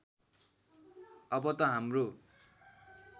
अब त हाम्रो